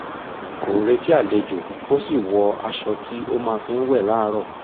kò retí àlejò ó sì wọ aṣọ tí ó máa fi ń wẹ̀ láàárọ̀